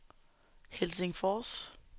Helsingfors